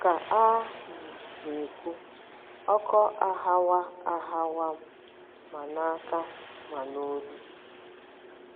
Ka a um na - ekwu, ọkọ aghawa aghawa m ma n’aka ma n’olu.